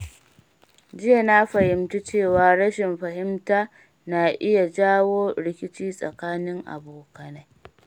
Jiya, na fahimci cewa rashin fahimta na iya jawo rikici tsakanin abokai.